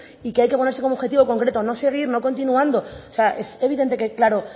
y que hay que ponerse como objetivo concreto no seguir no continuando o sea es evidente que claro